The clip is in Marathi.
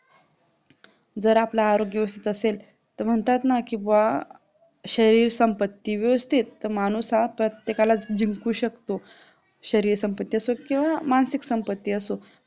जर आपला आरोग्य व्यवस्थित असेल तर म्हणतात ना की वा शरीर संपत्ती व्यवस्थित तर माणूस हा प्रत्येकाला जिंकू शकतो शरीर संपत्ती असो किंवा मानसिक संपत्ती असते